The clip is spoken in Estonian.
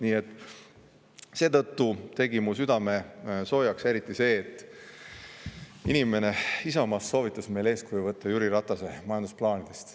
Nii et seetõttu tegi mu südame soojaks eriti see, et inimene Isamaast soovitas meil eeskuju võtta Jüri Ratase majandusplaanidest.